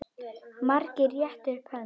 Margir réttu upp hönd.